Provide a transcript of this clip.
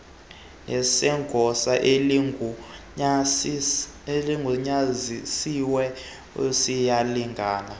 nesegosa eligunyazisiweyo ziyalingana